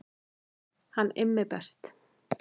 Hann er Immi best